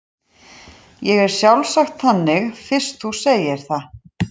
Ég er sjálfsagt þannig fyrst þú segir það.